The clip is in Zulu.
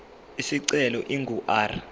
isicelo ingu r